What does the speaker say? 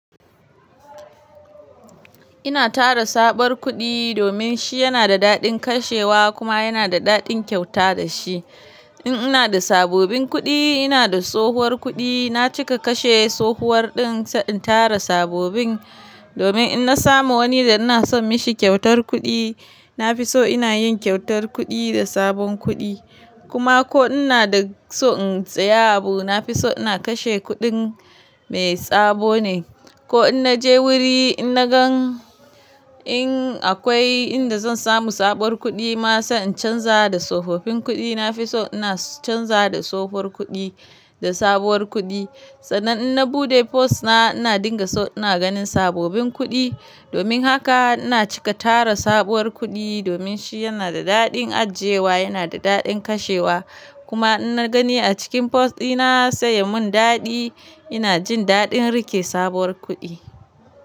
Ina tara sabon kuɗi domin shi yana da daɗin kashewa kuma yana da daɗin kyauta da shi. In ina da sababbin kuɗi, ina da tsohuwar kuɗi, na cika kashe tsohuwar ɗin sai in tara sababbin domin in na samu wani da ina son mishi kyautar kuɗi, na fi so ina yin kyautar kuɗi da sabon kuɗi. Kuma ko ina da so in saya abu, na fi so ina kashe kuɗin mai sabo ne. Ko in na je wuri, in na gan in akwai inda zan samu sabuwar kuɗi ma, sa in canza da tsofaffin kuɗi, na fi so ina canza da tsohuwar kuɗi da sabuwar kuɗi. Sannan in na buɗe purse na, ina dinga so ina ganin sababbin kuɗi. Domin haka ina cika tara sabuwar kuɗi domin shi yana da daɗin ajiyewa, yana da daɗin kashewa. Kuma in na gani a cikin purse ɗina sai yamin daɗi, ina jin daɗin rike sabuwar kuɗi.